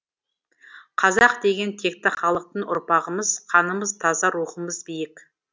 қазақ деген текті халықтың ұрпағымыз қанымыз таза рухымыз биік